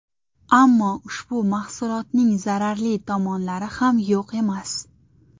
Ammo ushbu mahsulotning zararli tomonlari ham yo‘q emas.